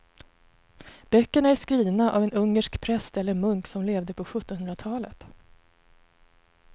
Böckerna är skrivna av en ungersk präst eller munk som levde på sjuttonhundratalet.